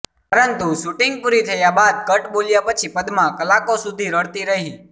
પરંતુ શુટિંગ પુરી થયા બાદ કટ બોલ્યા પછી પદ્મા કલાકો સુધી રડતી રહી